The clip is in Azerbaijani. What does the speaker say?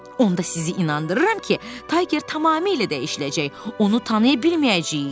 Onda sizi inandırıram ki, Tayger tamamilə dəyişiləcək, onu tanıya bilməyəcəyik.